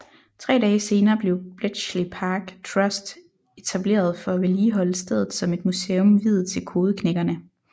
Tre dage senere blev Bletchley Park Trust etableret for at vedligeholde stedet som et museum viet til kodeknækkerne